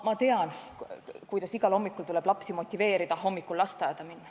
Ma tean, kuidas igal hommikul tuleb lapsi motiveerida lasteaeda minema.